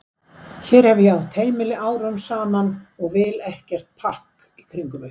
Hér hef ég átt heimili árum saman og vil ekkert pakk í kringum mig.